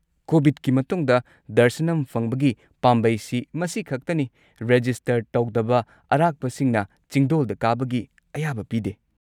ꯀꯣꯕꯤꯗꯀꯤ ꯃꯇꯨꯡꯗ, ꯗꯔꯁꯅꯝ ꯐꯪꯕꯒꯤ ꯄꯥꯝꯕꯩꯁꯤ ꯃꯁꯤ ꯈꯛꯇꯅꯤ, ꯔꯦꯖꯤꯁꯇꯔ ꯇꯧꯗꯕ ꯑꯔꯥꯛꯄꯁꯤꯡꯅ ꯆꯤꯡꯗꯣꯜꯗ ꯀꯥꯕꯒꯤ ꯑꯌꯥꯕ ꯄꯤꯗꯦ꯫